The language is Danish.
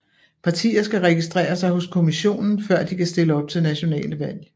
Partier skal registrere sig hos kommissionen før de kan stille op til nationale valg